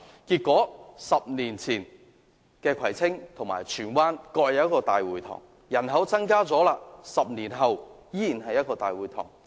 結果 ，10 年前，葵青區及荃灣區各有一個大會堂 ；10 年後，雖然人口增加了，但卻依然只是各有一個大會堂。